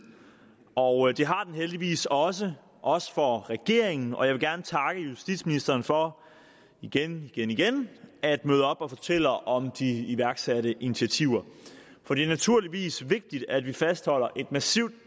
og det har den heldigvis også også for regeringen og jeg vil gerne takke justitsministeren for igen igen igen at møde op og fortælle om de iværksatte initiativer for det er naturligvis vigtigt at vi fastholder et massivt